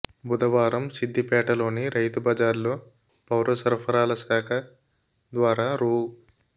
బుధవారం సిద్దిపే టలోని రైతు బజార్లో పౌరసరఫరాల శాఖ ద్వారా రూ